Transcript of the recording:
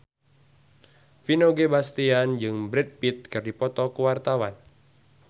Vino Bastian jeung Brad Pitt keur dipoto ku wartawan